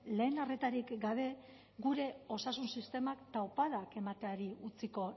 lehen arretarik gabe gure osasun sistemak taupadak emateari utziko